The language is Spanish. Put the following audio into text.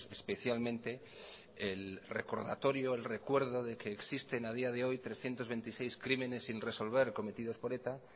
especialmente el recordatorio el recuerdo de que existen a día de hoy trescientos veintiséis crímenes sin resolver cometidos por eta